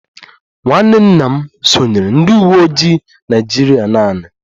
Nwanne nna m sonyeere ndị uwe ojii Naịjirịa naanị